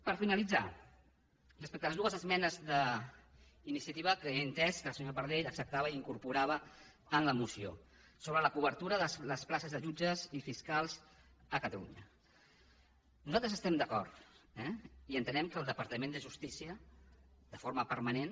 per finalitzar respecte a les dues esmenes d’iniciativa que he entès que la senyora pardell acceptava i incorporava en la moció sobre la cobertura de les places de jutges i fiscals a catalunya nosaltres hi estem d’acord eh i entenem que el departament de justícia de forma permanent